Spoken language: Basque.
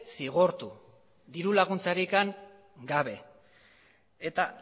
zigortu diru laguntzarik gabe eta